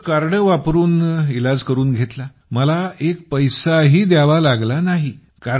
मग कार्ड वापरून इलाज करून घेतला आणि मला एकही पैसा द्यावा लागला नाही